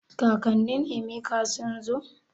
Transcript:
Kakanin Emeka sun zo?